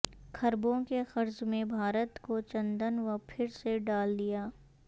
کھربوں کے قرض میں بھارت کو چندن وہ پھر سے ڈال دیا